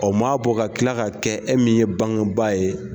O m'a bɔ ka kila ka kɛ e min ye bangeba ye